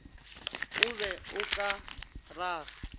o be o ka raga